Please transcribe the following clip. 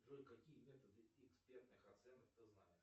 джой какие методы экспертных оценок ты знаешь